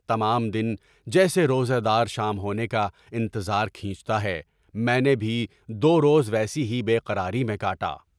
تمام دن جیسے روزہ دار شام ہونے کا انتظار کھینچتا ہے، میں نے بھی دو روز ویسی ہی بے قراری میں کاٹا۔